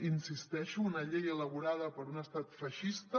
hi insisteixo una llei elaborada per un estat feixista